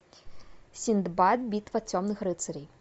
синдбад битва темных рыцарей